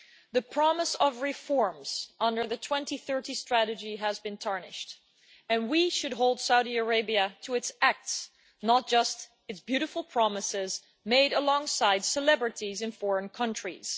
The promise of reforms under the 2030 strategy has been tarnished, and we should hold Saudi Arabia to its acts, not just its beautiful promises made alongside celebrities in foreign countries.